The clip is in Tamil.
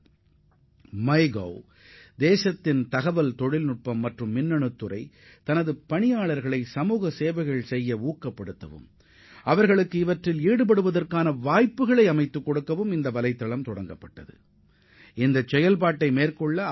எனது அரசு என்ற திட்டமும் நாட்டின் தகவல் தொழில்நுட்பம் மற்றும் மின்னணுவியல் தொழில்துறையினரும் தொழிலாளர்கள் சமுதாய நடவடிக்கைகளில் ஈடுபடுவதை ஊக்கப்படுத்தும் நோக்கிலும் இந்த துறையில் அவர்கள் பணியாற்றுவதற்குமான வாய்ப்புகளை வழங்குவதற்கும் இந்த தகவை தொடங்கியுள்ளனர்